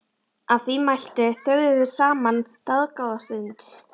Að því mæltu þögðu þeir saman dágóða stund.